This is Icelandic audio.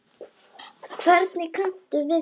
Hvernig kanntu við þig?